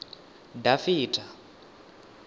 dafitha